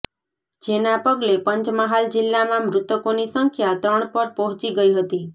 જેના પગલે પંચમહાલ જિલ્લામાં મૃતકોની સંખ્યા ત્રણ પર પહોચી ગઇ હતી